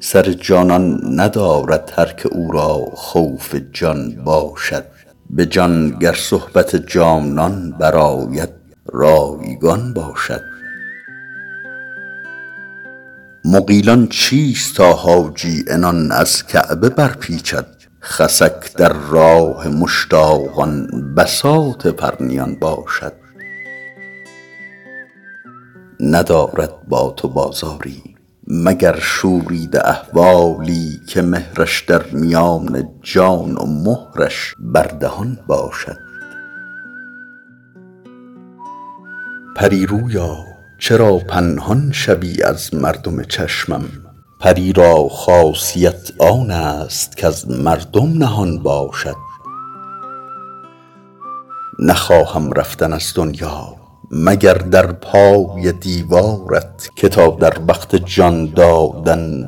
سر جانان ندارد هر که او را خوف جان باشد به جان گر صحبت جانان برآید رایگان باشد مغیلان چیست تا حاجی عنان از کعبه برپیچد خسک در راه مشتاقان بساط پرنیان باشد ندارد با تو بازاری مگر شوریده اسراری که مهرش در میان جان و مهرش بر دهان باشد پری رویا چرا پنهان شوی از مردم چشمم پری را خاصیت آن است کز مردم نهان باشد نخواهم رفتن از دنیا مگر در پای دیوارت که تا در وقت جان دادن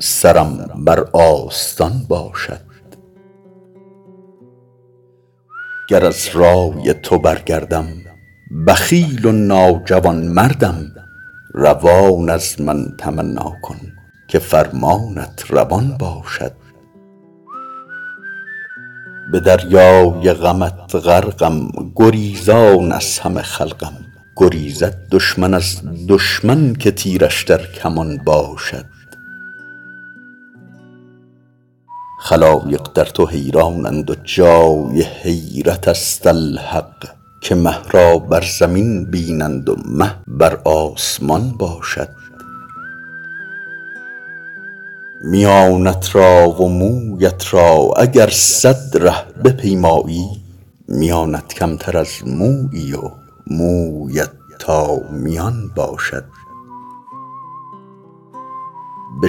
سرم بر آستان باشد گر از رای تو برگردم بخیل و ناجوانمردم روان از من تمنا کن که فرمانت روان باشد به دریای غمت غرقم گریزان از همه خلقم گریزد دشمن از دشمن که تیرش در کمان باشد خلایق در تو حیرانند و جای حیرت است الحق که مه را بر زمین بینند و مه بر آسمان باشد میانت را و مویت را اگر صد ره بپیمایی میانت کمتر از مویی و مویت تا میان باشد به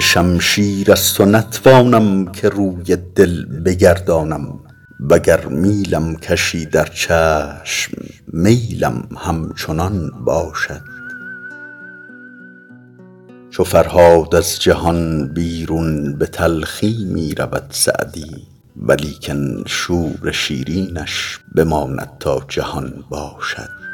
شمشیر از تو نتوانم که روی دل بگردانم و گر میلم کشی در چشم میلم همچنان باشد چو فرهاد از جهان بیرون به تلخی می رود سعدی ولیکن شور شیرینش بماند تا جهان باشد